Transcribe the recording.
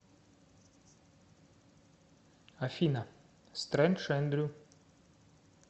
афина стрэндж эндрю